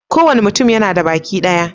Kowane mutum yana da baki daya